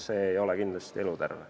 See ei ole kindlasti eluterve.